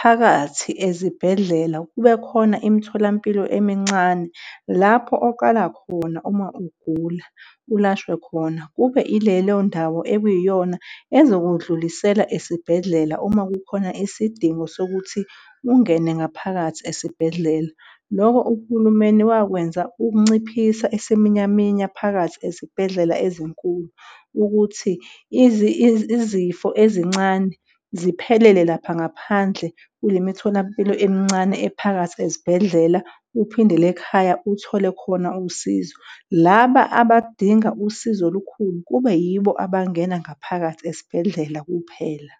phakathi ezibhedlela kube khona imitholampilo emincane lapho oqala khona uma ugula ulashwe khona, kube ilelo ndawo ekuyiyona ezokundlulisela esibhedlela uma kukhona isidingo sokuthi ungene ngaphakathi esibhedlela. Loko uhulumeni wakwenza ukunciphisa isiminyaminya phakathi ezibhedlela ezinkulu ukuthi izifo ezincane ziphelele lapha ngaphandle kule mitholampilo emincane ephakathi ezibhedlela, uphindele ekhaya uthole khona usizo. Laba abadinga usizo olukhulu, kube yibo abangena ngaphakathi esibhedlela kuphela.